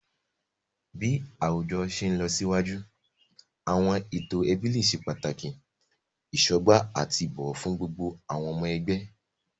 Bi awujọ ti nlọsiwaju, awọn eto ẹbi le ṣe pataki isọgba ati ibowo fun gbogbo awọn ọmọ ẹgbẹ.